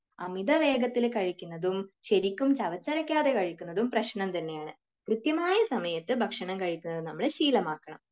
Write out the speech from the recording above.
അമിതവേഗത്തിൽ കഴിക്കുന്നതും ശെരിക്കും ചവച്ചരക്കാതെ കഴിക്കുന്നതും പ്രശനം തന്നെയാണ്. കൃത്യമായ സമയത്തു ഭക്ഷണം കഴിക്കുന്നത് നമ്മൾ ശീലമാക്കണം.